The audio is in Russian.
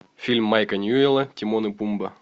фильм майка ньюэлла тимон и пумба